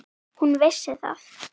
Hún vissi það.